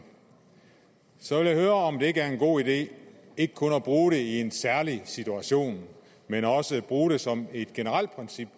så vil jeg høre om det ikke er en god idé ikke kun at bruge det i en særlig situation men også bruge det som et generelt princip